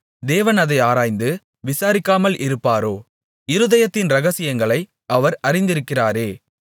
தேவன் அதை ஆராய்ந்து விசாரிக்காமல் இருப்பாரோ இருதயத்தின் ரகசியங்களை அவர் அறிந்திருக்கிறாரே